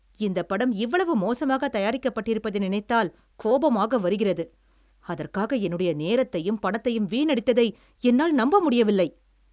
இந்தப் படம் இவ்வளவு மோசமாகத் தயாரிக்கப்பட்டிருப்பதை நினைத்தால் கோபமாக வருகிறது. அதற்காக என்னுடைய நேரத்தையும் பணத்தையும் வீணடித்ததை என்னால் நம்ப முடியவில்லை.